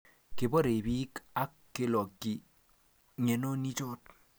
kiborei biik ak kelokyi ng'enonichoto